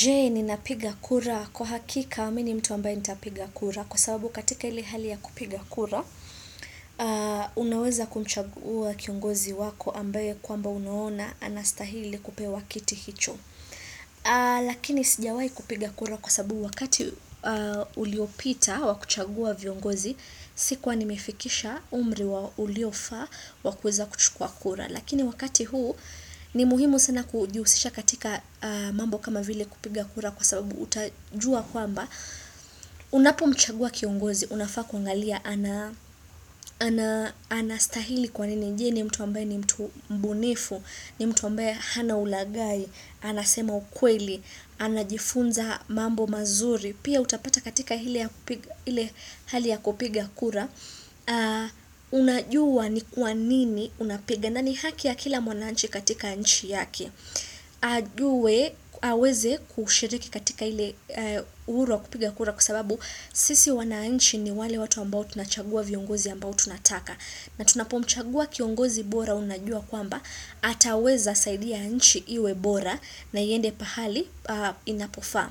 Je ninapiga kura kwa hakika mi ni mtu ambaye nitapiga kura kwa sababu katika ile hali ya kupiga kura unaweza kumchagua kiongozi wako ambaye kwamba unaona anastahili kupewa kiti hicho. Lakini sijawai kupiga kura kwa sababu wakati uliopita wakuchagua viongozi sikuwa nimefikisha umri wa uliofa wakuweza kuchukua kura. Lakini wakati huu ni muhimu sana kujihusisha katika mambo kama vile kupiga kura kwa sababu utajua kwamba Unapo mchagua kiongozi, unafaa kuangalia ana anastahili kwa nini je ni mtu ambaye ni mtu mbunifu, ni mtu ambaye hana ulagai, anasema ukweli, anajifunza mambo mazuri Pia utapata katika ile ya kupiga ile hali ya kupiga kura Unajua ni kwa nini unapiga na ni haki ya kila mwananchi katika nchi yake ajue aweze kushiriki katika ile uhuru wa kupiga kura Kwa sababu sisi wananchi ni wale watu ambao tunachagua viongozi ambao tunataka na tunapomchagua kiongozi bora unajua kwamba ataweza saidia nchi iwe bora na iende pahali inapofaa